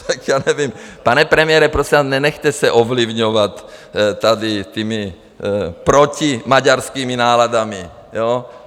Tak já nevím, pane premiére, prosím vás, nenechte se ovlivňovat tady těmi protimaďarskými náladami.